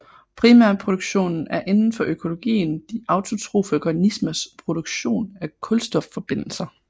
Primærproduktionen er inden for økologien de autotrofe organismers produktion af kulstofforbindelser